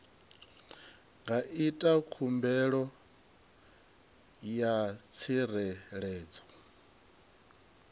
nga ita khumbelo ya tsireledzo